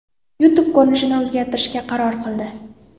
YouTube ko‘rinishini o‘zgartirishga qaror qildi.